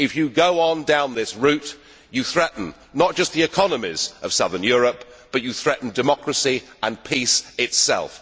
If you go on down this route, you threaten not just the economies of southern Europe, but you threaten democracy and peace itself.